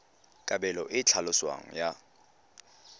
kabelo e e tlhaloswang ya